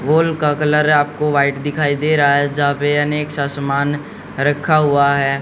बोल का कलर आपको व्हाइट दिखाई दे रहा है जहां पे अनेक सा समान रखा हुआ है।